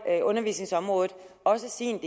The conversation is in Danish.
undervisningsområdet også sin